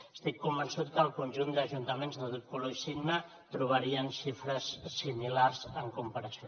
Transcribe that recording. estic convençut que al conjunt d’ajuntaments de tot color i signe trobarien xifres similars en comparació